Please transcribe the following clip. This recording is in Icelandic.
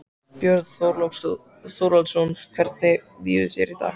Björn Þorláksson: Hvernig líður þér í dag?